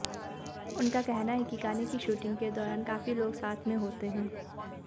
उनका कहना है कि गाने की शूटिंग के दौरान काफी लोग साथ में होते हैं